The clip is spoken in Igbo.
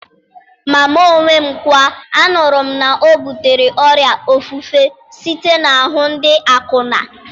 Ma mụ onwe m kwa, anụrụ m na ọ butere ọrịa ofufe site n'ahụ ndị akwụna.